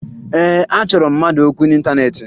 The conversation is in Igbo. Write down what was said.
Ee, achọrọ m mmadụ okwu n'ịntaneetị